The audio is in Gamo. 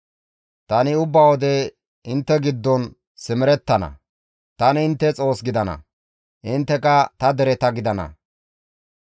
Tani ubba wode intte giddon simerettana; tani intte Xoos gidana; intteka ta dereta gidana.